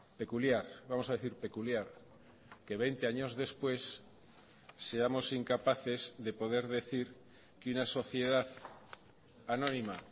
peculiar vamos a decir peculiar que veinte años después seamos incapaces de poder decir que una sociedad anónima